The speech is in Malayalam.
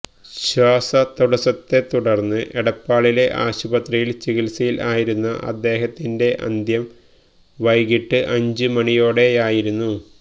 ശ്വാസതടസത്തെ തുടർന്ന് എടപ്പാളിലെ ആശുപത്രിയിൽ ചികിത്സയില് ആയിരുന്ന അദ്ദേഹത്തിന്റെ അന്ത്യം വൈകിട്ട് അഞ്ചു മണിയോടെയായിരുന്നു